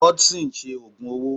Godson ṣe ògùn owó.